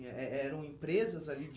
Eh eh eram empresas ali?